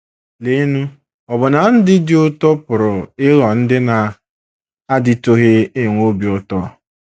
Leenụ, ọbụna ndị ndụ dị ụtọ pụrụ ịghọ ndị na - adịtụghị enwe obi ụtọ!